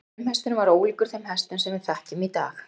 frumhesturinn var ólíkur þeim hestum sem við þekkjum í dag